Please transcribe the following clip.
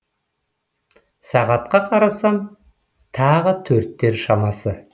сағатқа қарасам таңғы төрттер шамасы